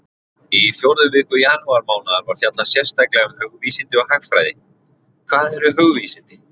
Í fjórðu viku janúarmánaðar var fjallað sérstaklega um hugvísindi og hagfræði: Hvað eru hugvísindi?